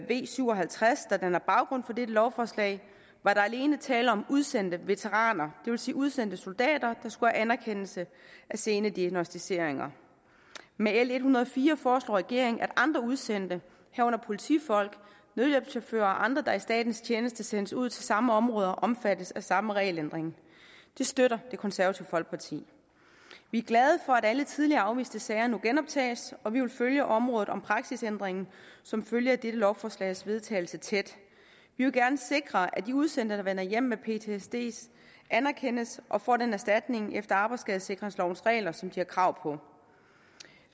v syv og halvtreds der danner baggrund for dette lovforslag var der alene tale om udsendte veteraner det vil sige udsendte soldater der skulle have anerkendelse af sene diagnosticeringer med l en hundrede og fire foreslår regeringen at andre udsendte herunder politifolk nødhjælpschauffører og andre der i statens tjeneste sendes ud til samme områder omfattes af samme regelændring det støtter det konservative folkeparti vi er glade for at alle tidligere afviste sager nu genoptages og vi vil følge området vedrørende praksisændringen som følge af dette lovforslags vedtagelse tæt vi vil gerne sikre at de udsendte der vender hjem med ptsd anerkendes og får den erstatning efter arbejdsskadesikringslovens regler som de har krav på